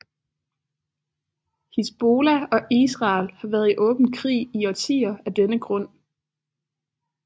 Hizbollah og Israel har været i åben krig i årtier af denne grund